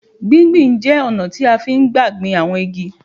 Gbí gbi n jẹ́ ọ̀nà tí à n gbà gbin àwọn igi